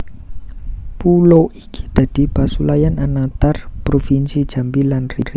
Pulo iki dadi pasulayan anatar provinsi Jambi lan Riau